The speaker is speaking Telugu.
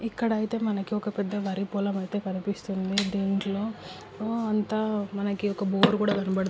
ఇక్కడ అయితే మనకి ఒక పెద్ద వరి పొలం అయితే కనిపిస్తుంది. దీంట్లో అంతా మనకి ఒక బోరు కూడా కనబడుతుంది.